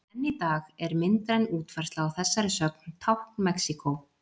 Enn í dag er myndræn útfærsla á þessari sögn tákn Mexíkó.